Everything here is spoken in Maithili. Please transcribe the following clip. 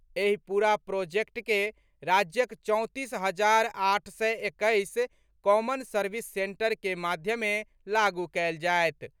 एहि पूरा प्रोजेक्ट के राज्यक चौंतीस हजार आठ सय एक्कैस कॉमन सर्विस सेंटर के माध्यमे लागू कएल जाएत।